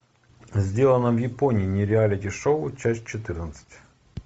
сделано в японии нереалити шоу часть четырнадцать